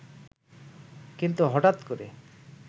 কিন্তু হঠাত্ করে